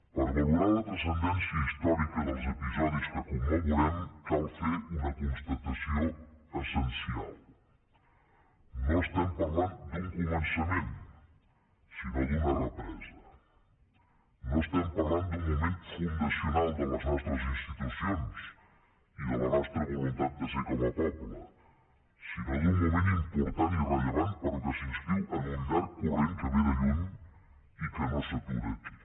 per a valorar la transcendència històrica dels episodis que commemorem cal fer una constatació essencial no parlem d’un començament sinó d’una represa no parlem d’un moment fundacional de les nostres institucions i de la nostra voluntat de ser com a poble sinó d’un moment important i rellevant però que s’inscriu en un llarg corrent que ve de lluny i que no s’atura aquí